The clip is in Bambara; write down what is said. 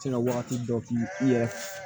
Tɛna wagati dɔ k'i yɛrɛ ye